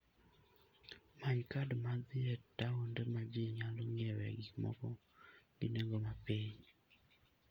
Many kad mag dhi e taonde ma ji nyalo ng'iewoe gik moko gi nengo mapiny.